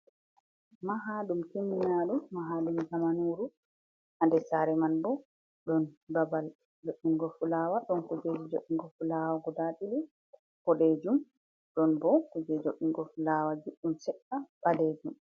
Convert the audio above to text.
Mahaɗum kimminaɗum, mahaɗum zamanuru, ha nder sare man bo ɗon babal jodɗingo fulawa, ɗon kujeji jodɗingo fulawa guda ɗiɗi bodejum, ɗon bo kujeji jodɗingo fulawaji ɗum seɗɗa ɓalejum.